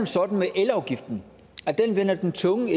sådan med elafgiften at den vender den tunge